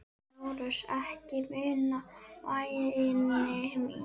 LÁRUS: Ekki núna, væni minn.